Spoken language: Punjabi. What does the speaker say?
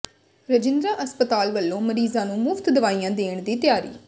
ਰਜਿੰਦਰਾ ਹਸਪਤਾਲ ਵੱਲੋਂ ਮਰੀਜ਼ਾਂ ਨੂੰ ਮੁਫ਼ਤ ਦਵਾਈਆਂ ਦੇਣ ਦੀ ਤਿਆਰੀ